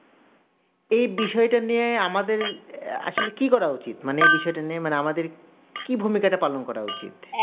এইবিষয়টা নিয়ে আমাদের আসলে কি করা উচিত মানে এই বিষয়টা নিয়ে মানে আমাদের কি ভূমিকাটা পালন করা উচিত